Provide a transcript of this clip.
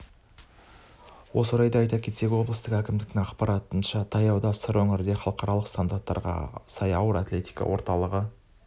осы орайда айта кетсек облыстық әкімдіктің ақпаратынша таяуда сыр өңірінде халықаралық стандарттарға сай ауыр атлетика орталығы